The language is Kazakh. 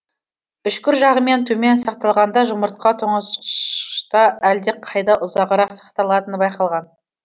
үшкір жағымен төмен сақталғанда жұмыртқа тоңазытқышта әлдеқайда ұзағырақ сақталатыны байқалған